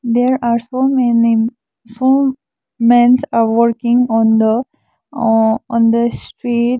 there are so many four mens are working on the ah on the street.